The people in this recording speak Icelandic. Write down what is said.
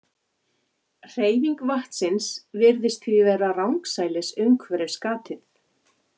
Hreyfing vatnsins virðist því vera rangsælis umhverfis gatið.